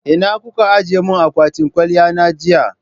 Ina kuka ajiye mun akwatin kwaliya na jiya?